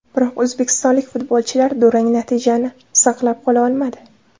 Biroq o‘zbekistonlik futbolchilar durang natijani saqlab qola olmadi.